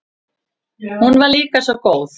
Hún var líka svo góð.